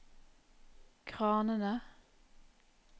kranene